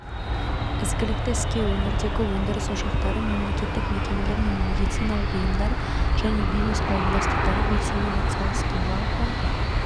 ізгілікті іске өңірдегі өндіріс ошақтары мемлекеттік мекемелер мен медициналық ұйымдар және бизнес қауымдастықтары белсене атсалысты жалпы